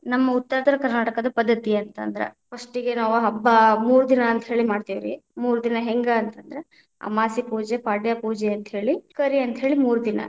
ನಮ್ಮ ಉತ್ತ ಉತ್ತರ ಕನಾ೯ಟಕದ ಪದ್ಧತಿ ಅಂತ ಅಂದ್ರ, first ಗೆ ನಾವ ಹಬ್ಬಾ ಮೂರ ದಿನಾ ಅಂತ ಹೇಳಿ ಮಾಡತೇವ ರೀ, ಮೂರ ದಿನಾ ಹೆಂಗ ಅಂತ ಅಂದ್ರ ಅಮಾಸೆ ಪೂಜೆ, ಪಾಡ್ಯೆ ಪೂಜೆ ಅಂತ ಹೇಳಿ ಕರಿ ಅಂತ್ಹೇಳಿ ಮೂರ ದಿನಾ.